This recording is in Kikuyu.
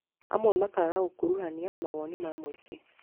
Amwe makaga gũkuruhania mawoni ma mũingĩ